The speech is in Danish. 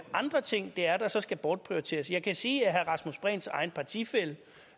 andre ting det er der så skal bortprioriteres jeg kan sige at herre rasmus prehns egen partifælle